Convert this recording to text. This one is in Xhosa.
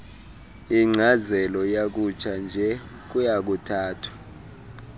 yenkcazelo yakutshanje kuyakuthathwa